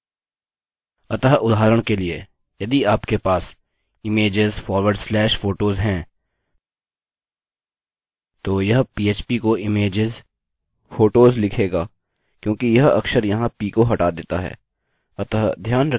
अतः उदाहरण के लिए यदि आपके पास images forward slash photos है तो यह php को imageshotos लिखेगा क्योंकि यह अक्षर यहाँ p को हटा देता है